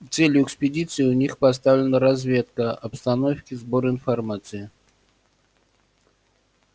целью экспедиции у них поставлена разведка обстановки сбор информации